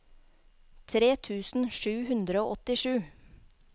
tre tusen sju hundre og åttisju